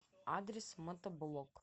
адрес мотоблок